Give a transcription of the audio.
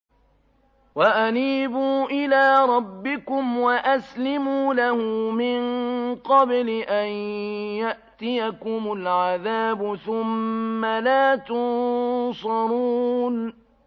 وَأَنِيبُوا إِلَىٰ رَبِّكُمْ وَأَسْلِمُوا لَهُ مِن قَبْلِ أَن يَأْتِيَكُمُ الْعَذَابُ ثُمَّ لَا تُنصَرُونَ